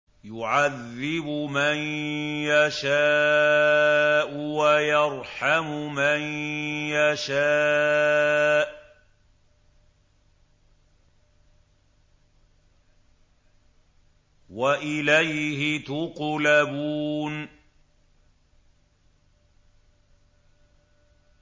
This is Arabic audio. يُعَذِّبُ مَن يَشَاءُ وَيَرْحَمُ مَن يَشَاءُ ۖ وَإِلَيْهِ تُقْلَبُونَ